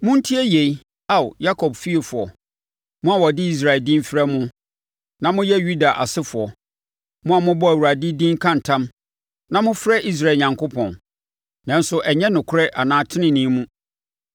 “Montie yei, Ao, Yakob fiefoɔ mo a wɔde Israel din frɛ mo, na moyɛ Yuda asefoɔ, mo a mobɔ Awurade din ka ntam, na mofrɛ Israel Onyankopɔn, nanso ɛnyɛ nokorɛ anaa tenenee mu;